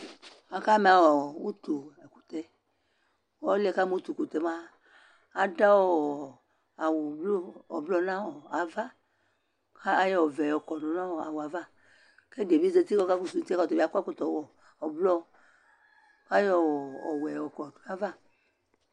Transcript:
akama ʋtʋ ɛkʋtɛ, ɔlʋɛ kama ʋtʋ ɛkʋtɛ mʋa adʋɔ awʋ blue nʋ aɣa kʋ ayɔ ɔvɛ kɔdʋ nʋ awʋɛ aɣa kʋ ɛdibi zati kʋ ɔkakɔsʋ, ɔtabi akɔ ɛkɔtɔ ɔblɔ kʋ ayɔ ɔwɛ yɔkɔdʋ nʋ aɣa